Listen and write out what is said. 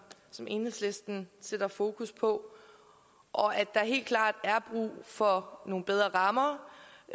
som enhedslisten sætter fokus på og at der helt klart er brug for nogle bedre rammer